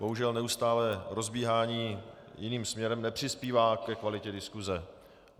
Bohužel neustálé rozbíhání jiným směrem nepřispívá ke kvalitě diskuse.